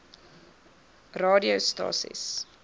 watter aa radiostasies